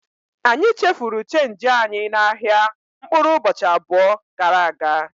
Anyị chefuru chenji anyị n'ahịa mkpụrụ ụbọchị abụọ gara aga.